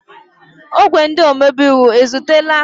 Ogwe ndị omebe iwu ezutela?